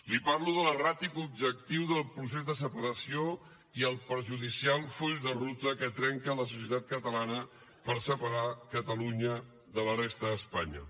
li parlo de l’erràtic objectiu del procés de separació i el perjudicial full de ruta que trenca la societat catalana per separar catalunya de la resta d’espanya